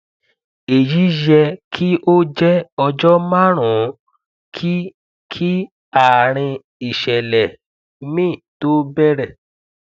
èyí yẹ kí ó jẹ ọjọ márùn ún kí kí àárín ìṣẹlẹ mi tó bẹrẹ